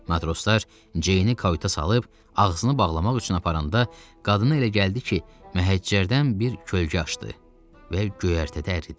Matroslar Ceyni kayut'a salıb ağzını bağlamaq üçün aparanda, qadına elə gəldi ki, məhəccərdən bir kölgə aşdı və göyərtədə əridi.